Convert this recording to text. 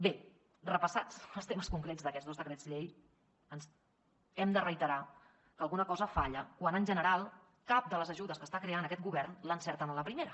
bé repassats els temes concrets d’aquests dos decrets llei hem de reiterar que alguna cosa falla quan en general cap de les ajudes que està creant aquest govern l’encerten a la primera